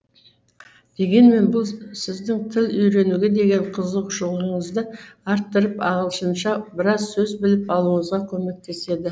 дегенмен бұл сіздің тіл үйренуге деген қызығушылығыңызды арттырып ағылшынша біраз сөз біліп алуыңызға көмектеседі